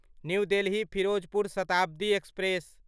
new Delhi Firozpur Shatabdi express